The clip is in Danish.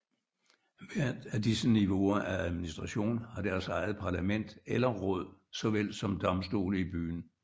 Hvert af disse niveauer af administration har deres eget parlament eller råd såvel som domstole i byen